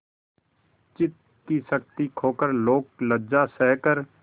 चित्त की शक्ति खोकर लोकलज्जा सहकर